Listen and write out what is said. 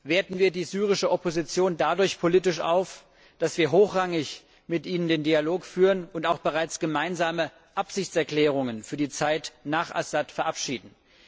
Werten wir die syrische Opposition dadurch politisch auf, dass wir hochrangig mit ihr den Dialog führen und auch bereits gemeinsame Absichtserklärungen für die Zeit nach Assad verabschieden.